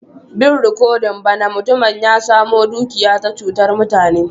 Bin rikodin ba na, mutumin ya samo dukiya ta chutan mutane.